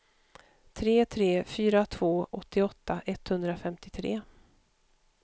tre tre fyra två åttioåtta etthundrafemtiotre